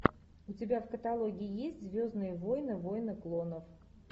у тебя в каталоге есть звездные войны войны клонов